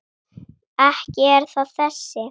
Ekki er það þessi.